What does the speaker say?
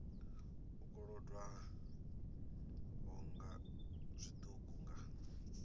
u kolodwaho nga zwiṱuku nga